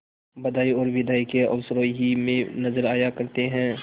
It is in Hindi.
बधाई और बिदाई के अवसरों ही में नजर आया करते हैं